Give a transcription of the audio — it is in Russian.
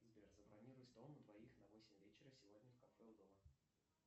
сбер забронируй стол на двоих на восемь вечера сегодня в кафе у дома